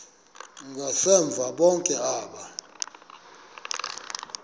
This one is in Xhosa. ngasemva bonke aba